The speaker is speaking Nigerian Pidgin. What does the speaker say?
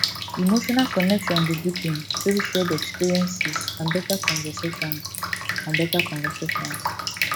emotional connection dey deepen through shared experiences and better conversations and better conversations